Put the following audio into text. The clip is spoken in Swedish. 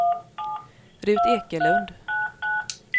Rut Ekelund